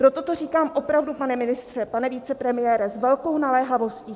Proto to říkám opravdu, pane ministře, pane vicepremiére, s velkou naléhavostí.